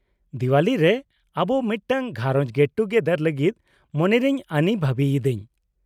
-ᱫᱮᱶᱟᱞᱤᱨᱮ ᱟᱵᱚ ᱢᱤᱫᱴᱟᱝ garage gate ᱴᱩᱜᱮᱫᱟᱨ ᱞᱟᱜᱤᱫ ᱢᱚᱱᱮᱨᱤᱧ ᱟᱱᱤ ᱵᱷᱟᱵᱤᱭ ᱤᱫᱟᱹᱧ ᱾